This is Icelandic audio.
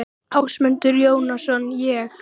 Ásmundur Jóhannsson: Ég?